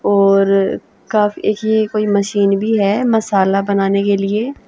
और काफी ही कोई मशीन भी है मसाला बनाने के लिए